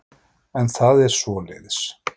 En það er svoleiðis.